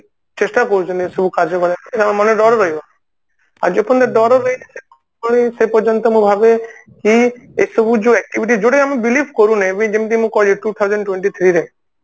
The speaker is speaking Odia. ଚେଷ୍ଟା କରୁଛନ୍ତି ଏସବୁ କାର୍ଯ୍ୟ ମାନେ ଡର ରହିବ ଆଉ ଯେତେବେଳେ ଡର ରହିବ ସେ ପର୍ଯ୍ୟନ୍ତ ମୁଁ ଭାବେ କି ଏସବୁ ଯୋଉ activities ଯୋଉଟା କି ଆମେ believe କରୁନେ ଯେମତି କି ମୁଁ କହିଲି two thousand twenty three ରେ